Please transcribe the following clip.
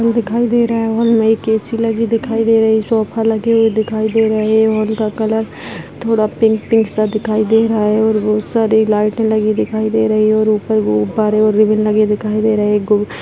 Hall दिखाई दे रहा है हॉल में एक ऐसी लगी दिखाई दे रही है सोफे लगे हुए दिखा दे रहे हैं हॉल का कलर थोड़ा पिंक पिंक सा दिखाई दे रहा है और बहुत सारी लाइट लगी हुई दिखाई दे रही है और ऊपर गुब्बारे और रिबन लगी दिखाई दे रहे हैं।